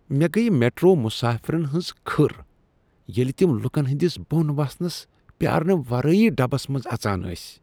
مےٚ گٔیہ میٹرو مسافرن ہٕنٛز کھٔر ییٚلہ تم لوکن ہنٛدس بۄن وسنس پیٛارنہٕ ورٲیی ڈبس منٛز اژان ٲسۍ۔